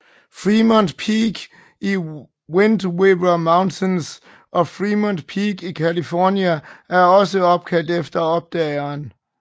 Fremont Peak i Wind River Mountains og Fremont Peak i California er også opkaldt efter opdageren